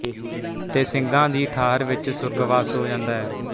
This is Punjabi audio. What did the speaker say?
ਤੇ ਸਿੰਘਾਂ ਦੀ ਠਾਹਰ ਵਿੱਚ ਸੁਰਗਵਾਸ ਹੋ ਜਾਂਦਾ ਹੈ